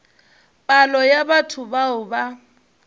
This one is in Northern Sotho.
palo ya batho bao ba